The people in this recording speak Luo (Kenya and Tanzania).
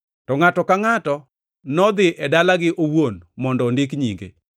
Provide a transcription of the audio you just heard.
To ngʼato ka ngʼato nodhi e dalagi owuon mondo ondik nyinge.